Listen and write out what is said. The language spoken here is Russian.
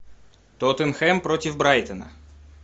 тоттенхэм против брайтона